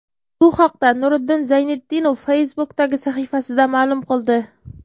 Bu haqda Nuriddin Zayniddinov Facebook’dagi sahifasida ma’lum qildi .